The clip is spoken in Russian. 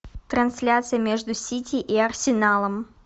трансляция между сити и арсеналом